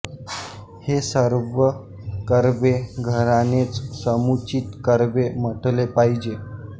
हे सर्व कर्वे घराणेच समुचित कर्वे म्हटले पाहिजे